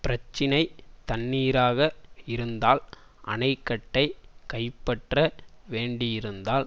பிரச்சினை தண்ணீராக இருந்தால் அணைக்கட்டை கைப்பற்ற வேண்டியிருந்தால்